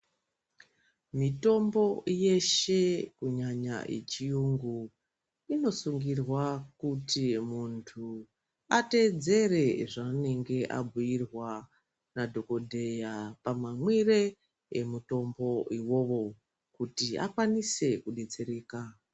Mitombo yeshe kunyanya yechiyungu inosungirwa kuti muntu ateedzere zvaanenge anbuyirwa nadhokodheya pamamwire emutombo uwowo kuti akwanisike kudetsereka.